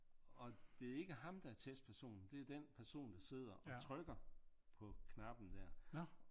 Og det er ikke ham der er testpersonen det er den person der sidder og trykker på knappen der